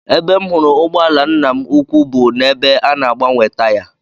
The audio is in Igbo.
Ebe m hụrụ ụgbọala nna m ukwu bụ n'ebe a na-agbanwe taya